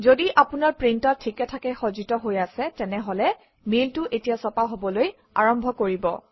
যদি আপোনাৰ প্ৰিণ্টাৰ ঠিকে ঠাকে সজ্জিত হৈ আছে তেনেহলে মেইলটো এতিয়া ছপা হবলৈ আৰম্ভ কৰিব